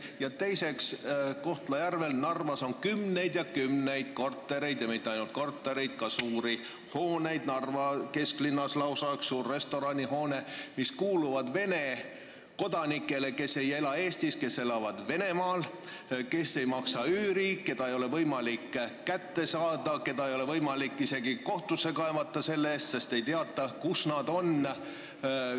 Ja teiseks, Kohtla-Järvel ja Narvas on kümneid ja kümneid kortereid ning mitte ainult kortereid, vaid ka suuri hooneid – Narva kesklinnas lausa üks suur restoranihoone –, mis kuuluvad Vene kodanikele, kes ei ela Eestis, vaid Venemaal, kes ei maksa üüri, keda ei ole võimalik kätte saada, keda ei ole võimalik isegi kohtusse kaevata selle eest, sest ei teata, kus nad on.